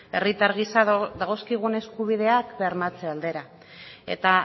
herritar gisa dagozkigun eskubideak bermatze aldera eta